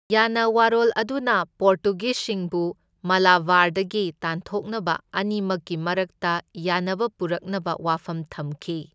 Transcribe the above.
ꯌꯥꯅꯋꯥꯔꯣꯜ ꯑꯗꯨꯅ ꯄꯣꯔꯇꯨꯒꯤꯖꯁꯤꯡꯕꯨ ꯃꯥꯂꯥꯕꯥꯔꯗꯒꯤ ꯇꯥꯟꯊꯣꯛꯅꯕ ꯑꯅꯤꯃꯛꯀꯤ ꯃꯔꯛꯇ ꯌꯥꯅꯕ ꯄꯨꯔꯛꯅꯕ ꯋꯥꯐꯝ ꯊꯝꯈꯤ꯫